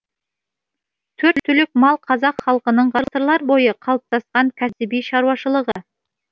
төрт түлік мал қазақ халқының ғасырлар бойы қалыптасқан кәсіби шаруашылығы